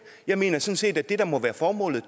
jeg mener sådan set at det der må være formålet